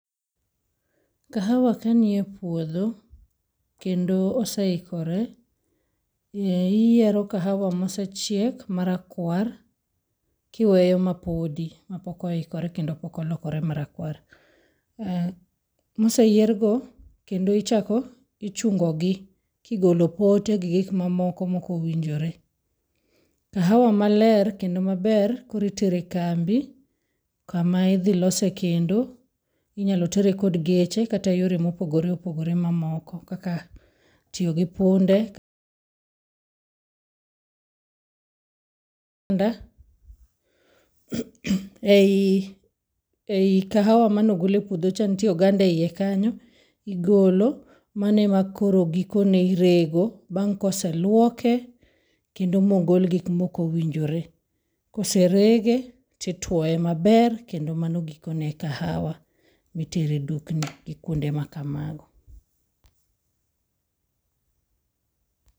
Kahawa kanie puodho kendo oseikore eh iyiero kahawa mosechiek marakwar kiweyo mapodi mapokoikore kendo pok olokore marakwar. Uh moseyier go kendo ichako ichungogi kigolo pote gi gik mamoko mokowinjore. Kahawa maler kendo maber koro itere kambi kama idhi losee kendo. Inyalo tere kod geche kata yore mopogore opogore mamoko kaka tio gi punde []ause] ei ei kahawa manogol e puodho cha ntie oganda eiye kanyo igolo, mano ema koro gikone irego. Bang' koseluoko kendo mogol gik mokowinjre. Koserege tituoe maber kendo mano gikone kahawa mitere dukni gi kuonde makamano.